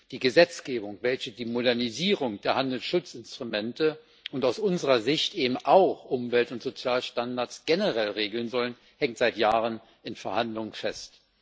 Die Gesetzgebung, welche die Modernisierung der Handelsschutzinstrumente und aus unserer Sicht eben auch Umwelt und Sozialstandards generell regeln soll, hängt seit Jahren in Verhandlungen fest.